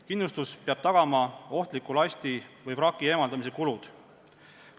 Kindlustus peab tagama ohtliku lasti või vraki eemaldamise kulud.